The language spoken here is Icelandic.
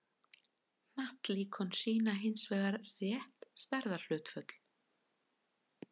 hnattlíkön sýna hins vegar rétt stærðarhlutföll